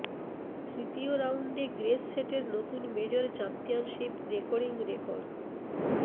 তৃতীয় রাউন্ডে গ্রেস সেটের নতুন মেজর চ্যাম্পিয়নশিপ রেকর্ডিং রেকর্ড